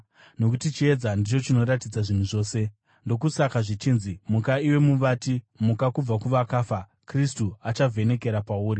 nokuti chiedza ndicho chinoratidza zvinhu zvose. Ndokusaka zvichinzi: “Muka, iwe muvati, muka kubva kuvakafa, Kristu achavhenekera pauri.”